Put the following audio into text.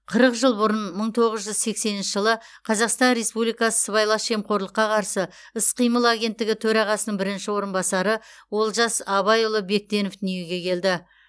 қырық жыл бұрын мың тоғыз жүз сексенінші жылы қазақстан республикасы сыбайлас жемқорлыққа қарсы іс қимыл агенттігі төрағасының бірінші орынбасары олжас абайұлы бектенов дүниеге келді